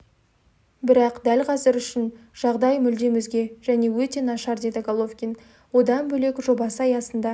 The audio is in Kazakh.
бірақ дәл қазір үшін жағдай мүлдем өзге және өте нашар деді головкин одан бөлек жобасы аясында